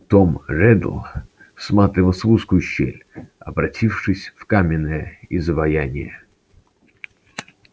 том реддл всматривался в узкую щель обратившись в каменное изваяние